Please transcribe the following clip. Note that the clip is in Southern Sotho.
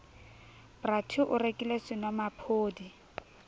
bra t o rekile senomaphodi